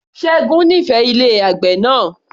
Ṣẹ́gun nífẹẹ ilé àgbè náà